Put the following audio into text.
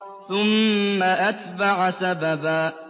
ثُمَّ أَتْبَعَ سَبَبًا